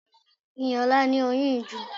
Iyìola ní oyun ìju